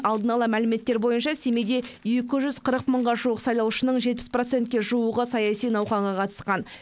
алдын ала мәліметтер бойынша семейде екі жүз қырық мыңға жуық сайлаушының жетпіс процентке жуығы саяси науқанға қатысқан